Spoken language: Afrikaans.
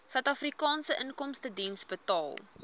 suidafrikaanse inkomstediens betaal